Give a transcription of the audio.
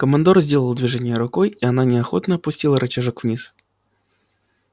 командор сделал движение рукой и она неохотно опустила рычажок вниз